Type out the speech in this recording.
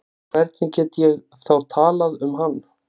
Hvernig get ég þá talað um hann?